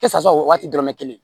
Kɛsa o waati dɔrɔn bɛ kelen